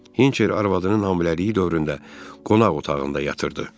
Hinçer arvadının hamiləliyi dövründə qonaq otağında yatırdı.